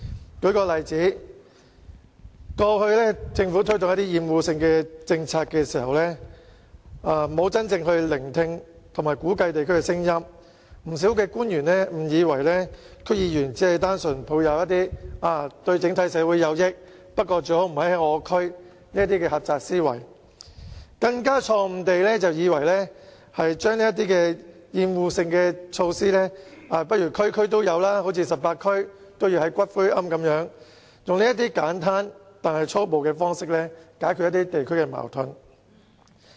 我舉一個例子，政府過往在推動一些厭惡性的政策時，沒有真正聆聽和估計地區的聲音，不少官員誤以為區議員只是單純抱持"對整體社會有益，但最好不要在我們區內推行"的狹窄思維，更錯誤地以為把一些厭惡性設施設於所有地區，例如在全港18區也興建骨灰龕，以這種簡單但粗暴的方式來解決地區矛盾。